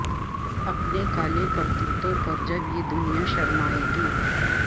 اپنے کالے کرتوتوں پر جب یہ دنیا شرمائے گی